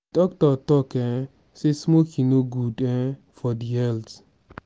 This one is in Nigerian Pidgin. di doctor tok um sey smoking no good um for di health.